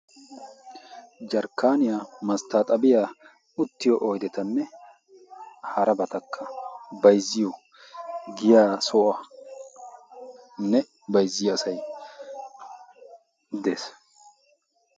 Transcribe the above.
Jarkkaaniyaa masttaaxabiyaa uttiyo oydetanne harabatakka bayzziyo giya soanne bayzziyo asay dees.